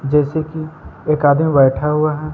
जैसे कि एक आदमी बैठा हुआ है।